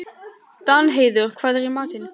Danheiður, hvað er í matinn?